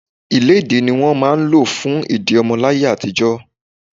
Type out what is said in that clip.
Ilédi ni wọ́n máa ń lò fún ìdí ọmọ láyé àtijó.